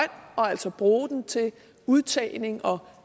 altså bruge den til udtagning og